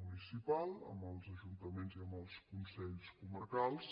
municipal amb els ajuntaments i amb els consells comarcals